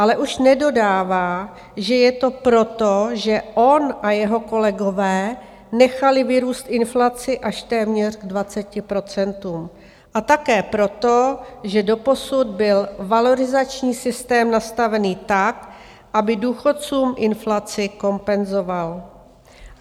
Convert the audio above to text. Ale už nedodává, že je to proto, že on a jeho kolegové nechali vyrůst inflaci až téměř k 20 %, a také proto, že doposud byl valorizační systém nastavený tak, aby důchodcům inflaci kompenzoval.